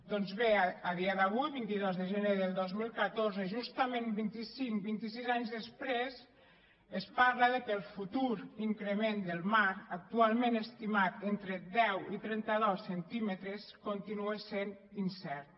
doncs bé a dia d’avui vint dos de gener del dos mil quinze justament vint i cinc vint i sis anys després es parla que el futur increment del mar actualment estimat entre deu i trenta dos centímetres continua sent incert